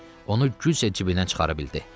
Onu güclə cibindən çıxara bildi.